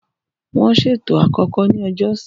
Wọ́n ṣètò àkọ́kọ́ ní ọjọ́ ọ̀sẹ̀.